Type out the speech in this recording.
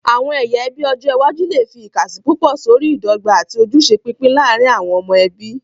Àwọn ẹyà ẹbí ọjọ iwájú lè fi ìkàsí púpọ̀ sórí ìdọ́gba àti ojúṣe pípín láàárín àwọn ọmọ ẹbí.